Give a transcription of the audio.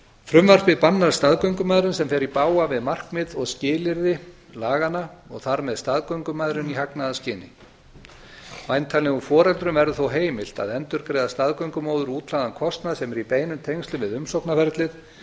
frumvarpið bannar staðgöngumæðrun sem fer í bága við markmið og skilyrði laganna og þar með staðgöngumæðrun í hagnaðarskyni væntanlegum foreldrum verður þó heimilt að endurgreiða staðgöngumóður útlagðan kostnað sem er í beinum tengslum við umsóknarferlið